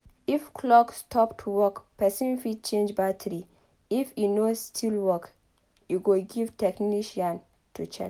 If clock stop to work person fit change battary if e no still work e go give technician to check